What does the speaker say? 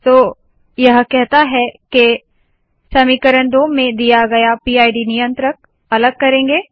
तो यह कहता है के समीकरण 2 में दिया गया पिड नियंत्रक अलग करेंगे